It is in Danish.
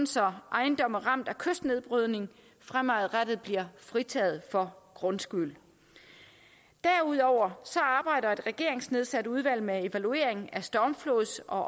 så ejendomme ramt af kystnedbrydning fremadrettet bliver fritaget for grundskyld derudover arbejder et regeringsnedsat udvalg med evaluering af stormflods og